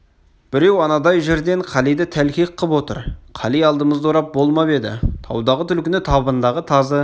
біреу анадай жерден қалиды тәлкек қып отыр қали алдымызды орап болмап еді таудағы түлкіні табындағы тазы